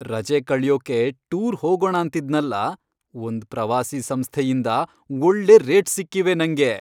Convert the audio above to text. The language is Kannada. ರಜೆ ಕಳ್ಯೋಕೆ ಟೂರ್ ಹೋಗೋಣಾಂತಿದ್ನಲ್ಲ, ಒಂದ್ ಪ್ರವಾಸಿ ಸಂಸ್ಥೆಯಿಂದ ಒಳ್ಳೆ ರೇಟ್ಸ್ ಸಿಕ್ಕಿವೆ ನಂಗೆ.